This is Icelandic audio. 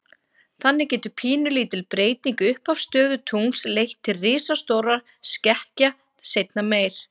Þannig getur pínulítil breyting í upphafsstöðu tungls leitt til risastórra skekkja seinna meir.